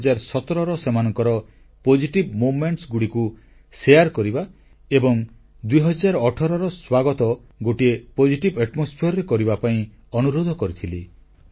ଗତ ମନ୍ କି ବାତ୍ରେ ମୁଁ ଦେଶବାସୀଙ୍କୁ 2017ର ସେମାନଙ୍କର ସକାରାତ୍ମକ ମୁହୁର୍ତ୍ତଗୁଡ଼ିକୁ ବାଣ୍ଟିବା ଏବଂ ଗୋଟିଏ ସକାରାତ୍ମକ ବାତାବରଣରେ 2018କୁ ସ୍ୱାଗତ କରିବା ପାଇଁ ଅନୁରୋଧ କରିଥିଲି